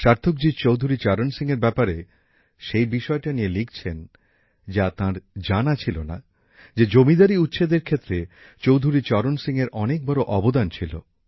সার্থকজী চৌধুরী চরণ সিংয়ের ব্যাপারে সেই বিষয়টা নিয়ে লিখছেন যা তাঁর জানা ছিল না যে জমিদারি উচ্ছেদের ক্ষেত্রে চৌধুরী চরণ সিংয়ের অনেক বড় অবদান ছিল